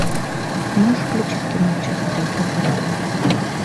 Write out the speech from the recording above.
можешь включить кино час призраков